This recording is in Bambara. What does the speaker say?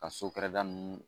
Ka so kɛrɛda ninnu